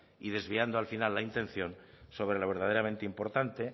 y desviando al final la intención sobre lo verdaderamente importante